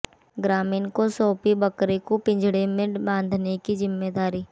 ग्रामीण को सौंपी बकरे को पिंजड़े में बांधने की जिम्मेदारी